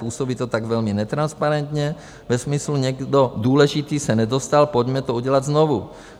Působí to tak velmi netransparentně ve smyslu - někdo důležitý se nedostal, pojďme to udělat znovu.